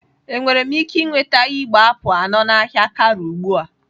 Enwere m ike nweta igbe apụl anọ na ahịa Karu ugbu a?